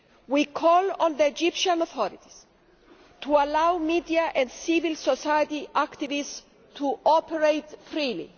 We call on the Egyptian authorities to allow media and civil society activists to operate freely.